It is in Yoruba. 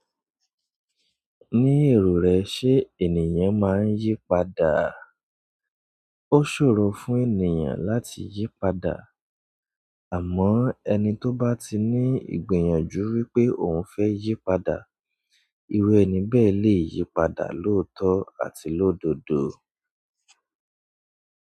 Ní èrò rẹ ṣe ènìyàn máa ń yí padà? Ó ṣòro fún ènìyàn láti yí padà, àmọ́ ẹni tó bá ti ní ìgbìyànjú wípé òun fẹ́ yí padà, irú ẹni bẹ́ẹ̀ lè yí padà lóòótọ́ àti lódodo.